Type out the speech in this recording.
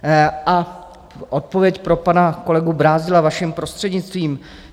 A odpověď pro pana kolegu Brázdila vaším prostřednictvím.